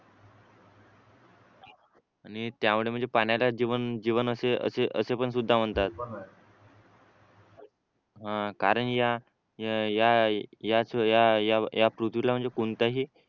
आणि त्यामुळे म्हणजे पाण्याला जीवन असे पण सुद्धा म्हणतात अं कारण या पृथ्वीला म्हणजे कोणताही